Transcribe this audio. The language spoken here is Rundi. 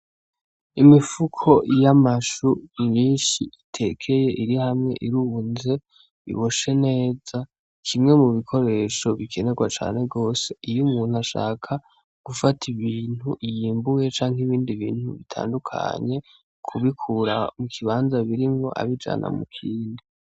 Imifuko y'amashu myinshi itekeye iri hamwe irunze, iboshe neza, kimwe mu bikoresho bikenegwa cane gose iyo umuntu ashaka gufata ibintu yimbuye canke ibindi bintu bitandukanye kubikura mu kibanza birimwo abijana mu kindi.